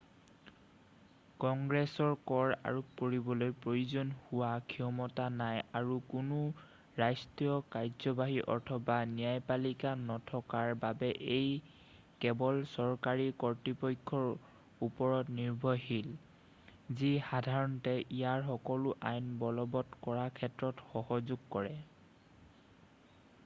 কংগ্ৰেছৰ কৰ আৰোপ কৰিবলৈ প্ৰয়োজন হোৱা ক্ষমতা নাই আৰু কোনো ৰাষ্ট্ৰীয় কাৰ্যবাহী অথবা ন্যায়পালিকা নথকাৰ বাবে ই কেৱল চৰকাৰী কৰ্তৃপক্ষৰ ওপৰত নিৰ্ভৰশীল যি সাধাৰণতে ইয়াৰ সকলো আইন বলবৎ কৰাৰ ক্ষেত্ৰত সহযোগ কৰে